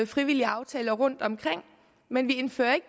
frivillige aftaler rundtomkring men vi indfører ikke